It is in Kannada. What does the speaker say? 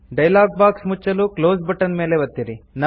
ಡೈಲಾಗ್ಬಾಕ್ಸ್ ಮುಚ್ಚಲು ಕ್ಲೋಸ್ ಬಟ್ಟನ್ ಮೇಲೆ ಒತ್ತಿರಿ